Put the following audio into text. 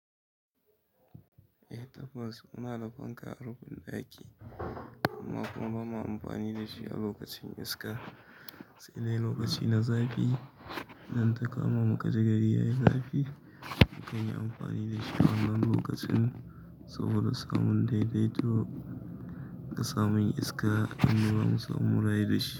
Eh tabbas, muna da fanka a rufin ɗaki amma kuma ba ma amfani da shi a lokacin iska. Sai dai lokaci na zafi idan ta kama mu kaji gari yayi zafi, mukan yi amfani da shi a wannan lokacin saboda samun daidaito da samun iska in ba mu samu mu rayu da shi.